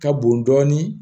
Ka bon dɔɔnin